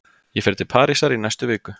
Ég fer til Parísar í næstu viku.